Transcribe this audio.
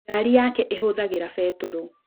Ngari yake ĩhũthagĩra betũrũ.